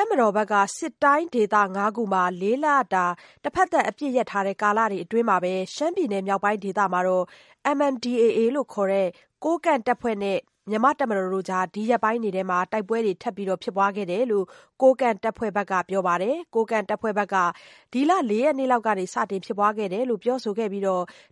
ပ်မတော်ဘက်က စစ်တိုင်းဒေသ ၅ခုမှာ ၄လတာအပစ်ရပ်ထားတဲ့ကာလအတွင်း ရှမ်းပြည်နယ်မြောက်ပိုင်းဒေသမှာ MNDAA ခေါ် ကိုးကန့်တပ်ဖွဲ့နဲ့ တပ်မတော်အကြားမှာ ဒီရက်ပိုင်းတွေ တိုက်ပွဲတွေ ထပ်မံဖြစ်ပွားကြောင်း ကိုးကန့်တပ်ဖွဲ့ဘက်က ပြောပါတယ်။ ကိုးကန့်တပ်ဖွဲ့ဘက်က ဒီလ ၄ရက်နေ့က စတင်ဖြစ်ပွားခဲ့ကြောင်း ပြောဆိုပြီး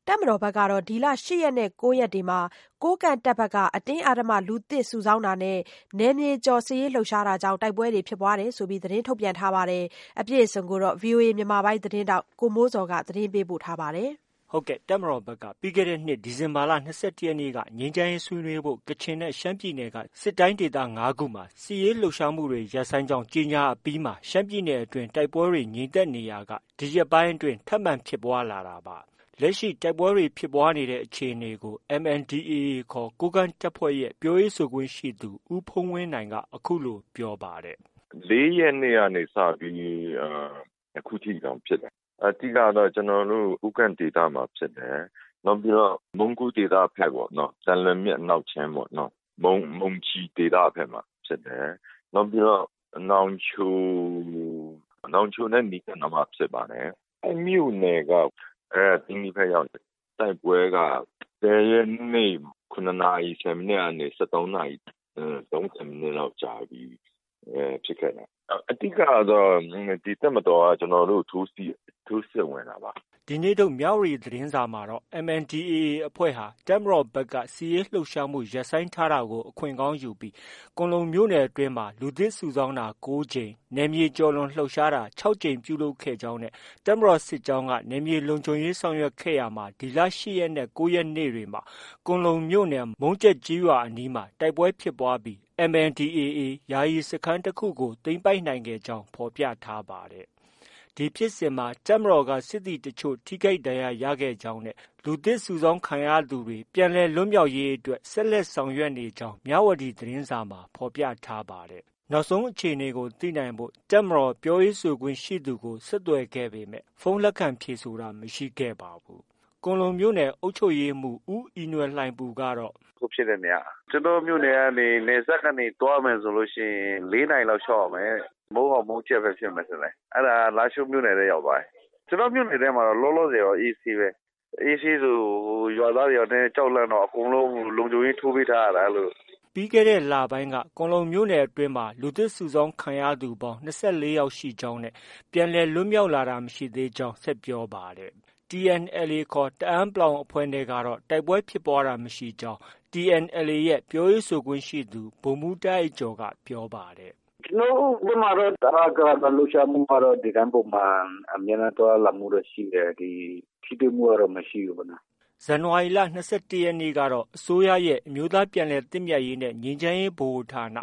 တပ်မတော်ကတော့ ဒီလ ၈ရက်နဲ့ ၉ရက်တွေမှာ ကိုးကန့်တပ်က အတင်းအဓမ္မလူသစ်စုဆောင်းတာနဲ့ နယ်မြေကျော်လှုပ်ရှားတာကြောင့် တိုက်ပွဲဖြစ်ပွားကြောင်းသတင်းထုတ်ပြန်ထားပါတယ်။ ဒီသတင်းကိုတော့ ဗီအိုအေမြန်မာပိုင်းရဲ့သတင်းထောက် ကိုမိုးဇော်က တင်ပြထားပါတယ်။ ဟုတ်ကဲ့။ တပ်မတော်ဘက်က ပြီးခဲ့တဲ့နှစ် ဒီဇင်ဘာလ ၂၁ရက်နေ့က ငြိမ်းချမ်းရေးဆွေးနွေးဖို့ ကချင်နဲ့ ရှမ်းပြည်နယ်က စစ်တိုင်းဒေသ ၅ခုမှာ စစ်ရေးလှုပ်ရှားမှုတွေ ရပ်ဆိုင်းကြောင်း ကြေညာအပြီးမှာ ရှမ်းပြည်နယ်အတွင်းမှာ တိုက်ပွဲတွေ ငြိမ်သက်နေရာက ဒီရက်ပိုင်းအတွင်း ထပ်မံဖြစ်ပွားလာတာဖြစ်ပါတယ်။ လက်ရှိ တိုက်ပွဲဖြစ်ပွားတဲ့အခြေအနေကို MNDAA ခေါ် ကိုးကန့်တပ်ဖွဲ့ရဲ့ ပြောရေးဆိုခွင့်ရှိသူ ဦးဖုန်းဝင်းနိုင်က အခုလို ပြောပါတယ်။ “ ၄ရက်နေ့က စပြီး အခုထိတောင်ဖြစ်တယ်။ အဓိကကတော့ ကျနော်တို့ ကိုးကန့်ဒေသမှာဖြစ်တယ်။ နောက်ပြီးတော့ မုံးကိုးဒေသဘက်ပေါ့နော်။ သံလွင်မြစ်အနောက်ခြမ်းပေါ့ မုံကျီဒေသဘက်မှာဖြစ်တယ်။ နောက်ပြီးတော့ နောင်ချို နောင်ချိုနဲ့ နီးကပ်နားမှာဖြစ်ပါတယ်။ မြို့နယ်က သိန္နီဘက် ရောက်တယ်။ တိုက်ပွဲက ၁၀ရက်နေ့ ၇နာရီ ၁၀မိနစ်ကနေ ၁၃နာရီ၃၀မိနစ်လောက်ကြာပြီဖြစ်ခဲ့တာ။ အဓိကကတော့ တပ်မတော်က ကျနော်တို့ ထိုးစစ်ဝင်တာပါ။” ဒီနေ့ထုတ် မြဝတီသတင်းစာမှာတော့ MNDAA အဖွဲ့ဟာ တပ်မတော်ဘက်က စစ်ရေးလှုပ်ရှားမှုရပ်ဆိုင်းထား တာကို ခွင့်ကောင်းယူပြီး ကွမ်းလုံမြို့နယ်အတွင်းမှာ လူသစ်စုဆောင်းတာ ၉ကြိမ်၊ နယ်မြေကျော်လွန်လှုပ်ရှား တာ ၆ကြိမ်ပြုလုပ်ခဲ့ကြောင်း နဲ့ တပ်မတော်စစ်ကြောင်းက နယ်မြေလုံခြုံရေးဆောင်ရွက်ခဲ့ရာမှာ ဒီလ ၈ရက်နဲ့ ၉ရက်နေ့တွေမှာ ကွမ်းလုံမြို့နယ် မုံးကျက်ကျေးရွာအနီးမှာ တိုက်ပွဲဖြစ်ပွားပြီး MNDAA ရဲ့ ယာယီစခန်းတစ်ခုကို သိမ်းပိုက်နိုင်ခဲ့ကြောင်း ဖော်ပြထားပါတယ်။ ဒီဖြစ်စဉ်မှာ တပ်မတော်က စစ်သည်တချို့ ထိခိုက်ဒဏ်ရာရခဲ့ကြောင်းနဲ့ လူသစ်စုဆောင်းခံရသူတွေ ပြန်လည်လွတ်မြောက်ရေးအတွက် ဆက်လက်ဆောင်ရွက်နေကြောင်း မြဝတီသတင်းစာမှာ ဖော်ပြထား ပါတယ်။ နောက်ဆုံးအခြေအနေကို သိနိုင်ဖို့ တပ်မတော်ပြောရေးဆိုခွင့်ရှိသူကို ဆက်သွယ်ခဲ့ပေမဲ့ ဖုန်းလက်ခံဖြေဆိုတာမရှိခဲ့ပါဘူး။ ကွမ်းလုံမြို့နယ် အုပ်ချုပ်ရေးမှုး ဦးအီနွယ်လှိုင်ပူကတော့ - “ အခုဖြစ်တဲ့နေရာက ကျနော့ မြို့နယ်ကနေ နယ်စပ်ကနေ သွားမယ်ဆိုရင် ၄နာရီလောက် လျှောက်ရမယ်တဲ့။ မုံးယော်၊ မုံးကျက်ဘက်ဖြစ်မယ်ထင်တယ်။ အဲဒါက လားရှိုးမြို့နယ်ထဲ ရောက်သွားပြီ။ ကျနော့ မြို့နယ်ထဲမှာတော့ လောလောဆည်တော့ အေးဆေးပဲ။ အေးဆေးဆို ရွာသားတွေက ကြောက်လန့်တော့ အကုန်လုံး လုံခြုံရေးထိုးပေးထားရတာ အဲလို။ ” ပြီးခဲ့တဲ့လပိုင်းက ကွမ်းလုံမြို့နယ်အတွင်းမှာ လူသစ်စုဆောင်းခံရသူပေါင်း ၂၄ယောက်ရှိကြောင်းနဲ့ ပြန်လည်လွတ်လာတာမရှိကြောင်း ဆက်ပြောပါတယ်။ TNLA ခေါ် တအန်း အဖွဲ့နဲ့ကတော့ တိုက်ပွဲဖြစ်ပွားတာမရှိကြောင်း TNLA ရဲ့ ပြောရေးဆိုခွင့်ရှိသူ ဗိုလ်မှုးတာ့အိုက်ကျော်က ပြောပါတယ်။ “ ကျနော်တို့ ဘက်မှာတော့ ဗမာ့တပ်လှုပ်ရှားမှုက ဒီတိုင်းပုံမှန် အမြဲတမ်းသွားလာမှုတော့ ရှိတယ်။ ဒီ ထိတွေ့မှုကတော့ မရှိဘူးပေါ့နော်။” ဇန်နဝါရီလ ၂၁ရက်နေ့ကတော့ အစိုးရရဲ့ အမျိုးသားပြန်လည်သင့်မြတ်ရေးနဲ့ ငြိမ်းချမ်းရေးဗဟိုဌာန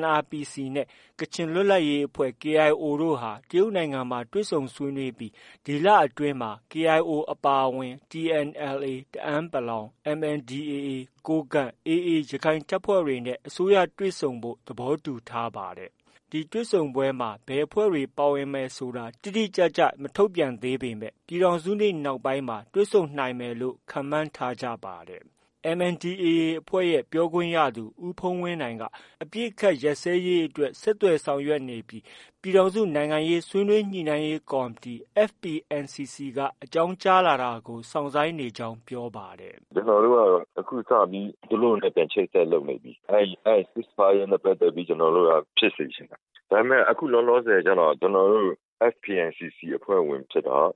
NRPC နဲ့ ကချင်လွတ်လပ်ရေးအဖွဲ့ KIO တို့ဟာ တရုတ်နိုင်ငံမှာ တွေ့ဆုံဆွေးနွေးခဲ့ပြီး ဒီလအတွင်းမှာ KIO အပါအဝင် TNLA တအန်း ၊ MNDAA ကိုးကန့် နဲ့ AA ရခိုင်တပ်ဖွဲ့တွေနဲ့ အစိုးရတွေ့ဆုံဖို့ သဘောတူထားပါတယ်။ ဒီတွေ့ဆုံပွဲဟာ ဘယ်အဖွဲ့တွေ ပါဝင်ဆွေးနွေးမယ်ဆိုတာ တိတိကျကျ မထုတ်ပြန်သေးပေမဲ့ ပြည်ထောင်စုနေ့ နောက်ပိုင်းမှာ တွေ့ဆုံနိုင်မယ်လို့လည်း ခန့်မှန်းထားကြပါတယ်။ MNDAA အဖွဲ့ရဲ့ ပြောခွင့်ရသူ ဦးဖုန်းဝင်းနိုင်က အပစ်အခတ်ရပ်စဲရေးအတွက် ဆက်သွယ်ဆောင်ရွက်နေပြီး ပြည်ထောင်စုနိုင်ငံရေးဆွေးနွေးညှိနှိုင်းရေးကော်မတီ FPNCC က အကြောင်းကြားလာတာကို စော့င်ဆိုင်းနေကြောင်း ပြောပါတယ်။ “ ကျနော်တို့ကတော့ အခုစပြီး သူတို့နဲ့ ပြန်ချိတ်ဆက်လုပ်နေပြီ၊ အဲဒီ cease fire နဲ့ ပတ်သက်ပြီး ဖြစ်စေချင်တယ်။ဒါပေမဲ့ ကျနော်တို့က FPNCC အဖွဲ့ဝင်ဖြစ်တော့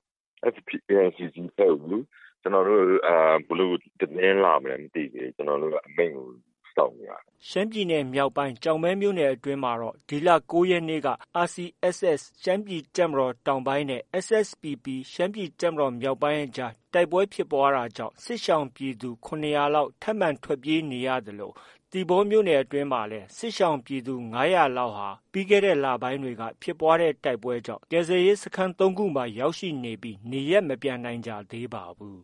FPNCC အဖွဲ့ကို ဘယ်လို သတင်းလာမလဲ မသိသေးဘူး။ ကျနော်တို့က အမိန့်ကို စောင့်နေရတာ။” ရှမ်းပြည်နယ်မြောက်ပိုင်း ကျောက်မဲမြို့နယ်အတွင်းမှာတော့ ဒီလ ၉ရက်နေ့က RCSS ခေါ် ရှမ်းပြည်တပ်မတော် တောင်ပိုင်းနဲ့ SSPPခေါ် ရှမ်းပြည်တပ်မတော်မြောက်ပိုင်းအကြားဖြစ်ပွားတဲ့တိုက်ပွဲကြောင့် စစ်ရှောင်ပြည်သူ ၇၀၀လောက်ထပ်မံထွက်ပြေးနေရသလို သီပေါမြို့နယ်အတွင်းမှာလည်း ပြီးခဲ့တဲ့လပိုင်းက ဖြစ်ပွားတဲ့ တိုက်ပွဲကြောင့် စစ်ရှောင်ပြည်သူ ၅၀၀ကျော်ဟာ ကယ်ဆယ်ရေးစခန်း ၃ခုမှာရာက်ရှိနေပြီး နေရပ်မပြန်နိုင်ကြသေးပါဘူး